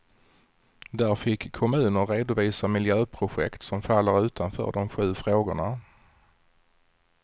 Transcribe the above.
Där fick kommuner redovisa miljöprojekt som faller utanför de sju frågorna.